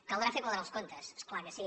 caldrà fer quadrar els comptes és clar que sí